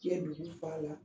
Diɲɛ duguw b'a la